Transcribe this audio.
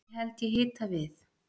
ekki held ég hita við